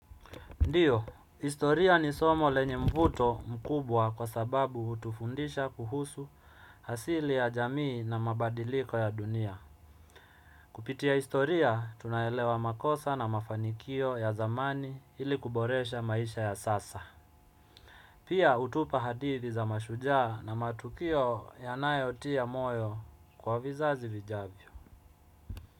Ndiyo, historia ni somo lenye mvuto mkubwa kwa sababu utufundisha kuhusu asili ya jamii na mabadiliko ya dunia. Kupitia historia, tunaelewa makosa na mafanikio ya zamani ili kuboresha maisha ya sasa. Pia, hutupa hadithi za mashujaa na matukio ya nayotia moyo kwa vizazi vijavyo.